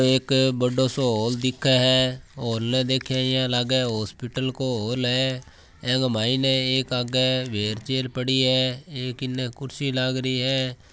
एक बड़ो सो हॉल दिखे है हॉल देखे है इयां लाग्गे हॉस्पिटल को हॉल है एक मैंने एक आगे व्हीलचेयर पड़ी है एक इन्ने कुर्सी लागरी है।